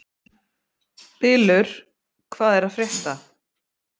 Bylur, hvað er að frétta?